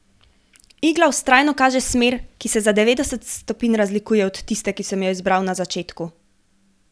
Igla vztrajno kaže smer, ki se za devetdeset stopinj razlikuje od tiste, ki sem jo izbral na začetku.